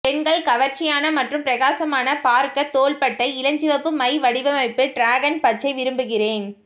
பெண்கள் கவர்ச்சியான மற்றும் பிரகாசமான பார்க்க தோள்பட்டை இளஞ்சிவப்பு மை வடிவமைப்பு டிராகன் பச்சை விரும்புகிறேன்